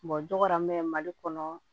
dɔ la n bɛ mali kɔnɔ